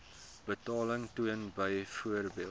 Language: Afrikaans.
betaling toon byvoorbeeld